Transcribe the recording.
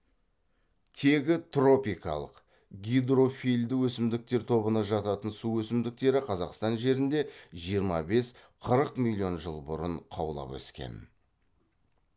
тегі тропикалық гидрофильді өсімдіктер тобына жататын су өсімдіктері қазақстан жерінде жиырма бес қырық миллион жыл бұрын қаулап өскен